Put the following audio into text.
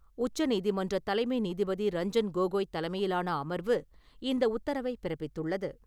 உச்சநீதிமன்ற தலைமை நீதிபதி ரஞ்சன் கோகோய் தலைமையிலான அமர்வு, இந்த உத்தரவைப் பிறப்பித்துள்ளது.